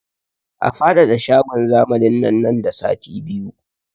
A faɗaɗa shagon zamanin nan nan da sati biyu!